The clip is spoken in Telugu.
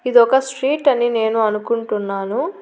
ఇది ఒక స్ట్రీట్ అని నేను అనుకుంటున్నాను.